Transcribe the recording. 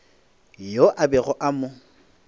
yo a bego a mo